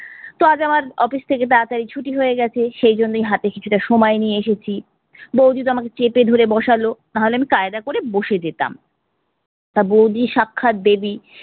তো আজ আমার office থেকে তাড়াতাড়ি ছুটি হয়ে গেছে, সেইজন্যেই হাতে কিছুটা সময় নিয়ে এসেছি। বৌদিতো আমাকে চেপে ধরে বসালো, নাহলে আমি কায়দা করে বসে যেতাম। তা বৌদি সাক্ষাৎ দেবী,